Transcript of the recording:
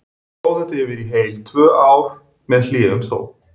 Stóð þetta yfir í heil tvö ár, með hléum þó.